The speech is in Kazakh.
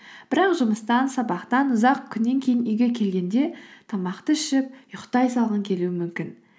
бірақ жұмыстан сабақтан ұзақ күннен кейін үйге келгенде тамақты ішіп ұйықтай салғың келуі мүмкін